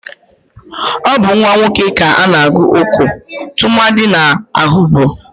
Ọ bu nwa nwoke ka ana-agụ Oko tụmadi n'Ehugbo.